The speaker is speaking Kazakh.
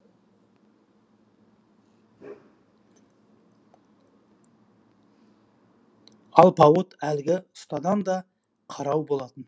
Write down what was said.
алпауыт әлгі ұстадан да қарау болатын